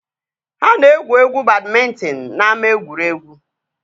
Ha na-egwu egwuregwu badmịntịn n'ama egwuregwu